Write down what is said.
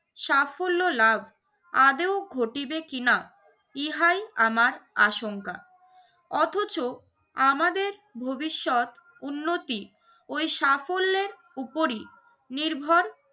সাফল্য লাভ আদৌ ঘটিবে কিনা ইহাই আমার আশঙ্কা। অথচ আমাদের ভবিষ্যৎ, উন্নতি ওই সাফল্যের উপরই নির্ভর